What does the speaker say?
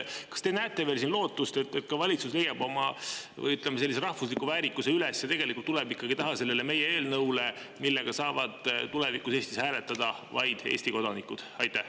Kas te näete siin veel lootust, et ka valitsus leiab oma rahvusliku väärikuse üles ja tuleb ikkagi selle meie eelnõu taha, mille kohaselt saavad tulevikus Eestis hääletada vaid Eesti kodanikud?